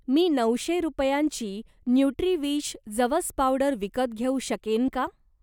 मी नऊशे रुपयांची न्युट्रीविश जवस पावडर विकत घेऊ शकेन का?